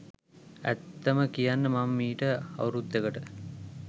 ඇත්තම කියන්න මම මීට අවුරුද්දකට